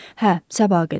Hə, sabaha qədər.